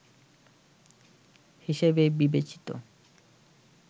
হিসেবে বিবেচিত